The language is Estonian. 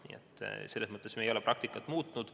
Nii et selles mõttes ei ole me praktikat muutnud.